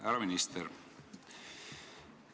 Härra minister!